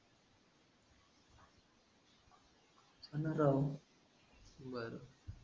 हाना राव. बरं